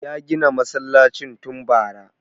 Ya gina masallacin tun bara